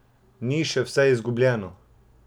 Ni še vse izgubljeno!